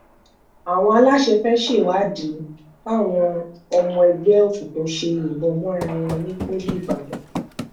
àwọn aláṣẹ fẹ́ẹ́ ṣèwádìí báwọn ọmọ ẹgbẹ́ òkùnkùn ṣe yìnbọn mọ́ra wọn ní pọ́lí ìbàdàn